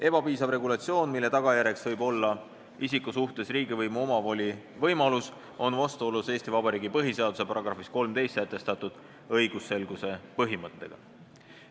Ebapiisav regulatsioon, mille tagajärjeks võib olla isiku suhtes riigivõimu omavoli võimalus, on vastuolus Eesti Vabariigi põhiseaduse §-s 13 sätestatud õigusselguse põhimõttega.